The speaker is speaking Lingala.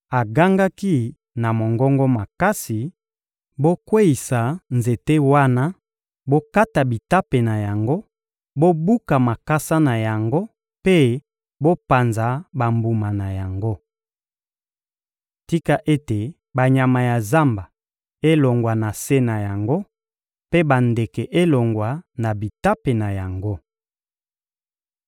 Agangaki na mongongo makasi: ‹Bokweyisa nzete wana, bokata bitape na yango, bobuka makasa na yango mpe bopanza bambuma na yango! Tika ete banyama ya zamba elongwa na se na yango mpe bandeke elongwa na bitape na yango!